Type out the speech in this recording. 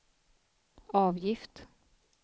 avgift